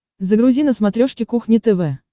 загрузи на смотрешке кухня тв